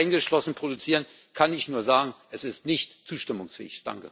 4.0 eingeschlossen, produzieren, kann ich nur sagen Es ist nicht zustimmungsfähig.